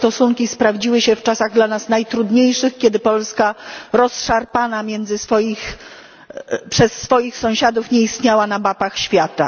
Te stosunki sprawdziły się w czasach dla nas najtrudniejszych, kiedy Polska rozszarpana przez swoich sąsiadów nie istniała na mapach świata.